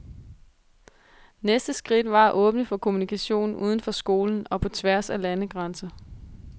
Næste skridt var at åbne for kommunikation uden for skolen og på tværs af landegrænser.